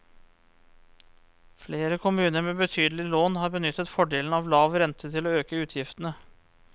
Flere kommuner med betydelige lån har benyttet fordelen av lav rente til å øke utgiftene.